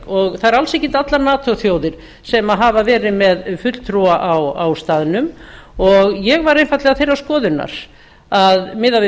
og það eru alls ekki allar nato þjóðir sem hafa verið með fulltrúa á staðnum og ég var einfaldlega þeirrar skoðunar að miðað við